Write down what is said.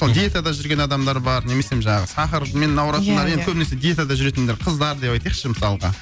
диетада жүрген адамдар бар немесе жаңағы сахармен ауыратындар иә иә көбінесі диетада жүретіндер қыздар деп айтайықшы мысалға